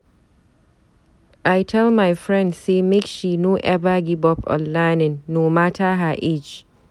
I tell my friend sey make she no eva give up on learning, no mata her age.